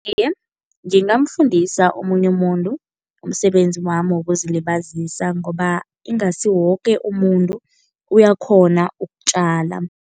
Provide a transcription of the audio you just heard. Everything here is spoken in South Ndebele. Iye, ngingamfundisa omunye umuntu umsebenzi wami wokuzilibazisa ngoba ingasi woke umuntu uyakghona ukutjala.